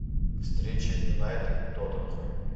встреча юнайтед тоттенхэм